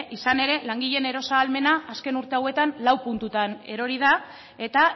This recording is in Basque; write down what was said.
izan ere langileen eros ahalmena azken urte hauetan lau puntutan erori da eta